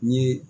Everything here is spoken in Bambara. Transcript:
N ye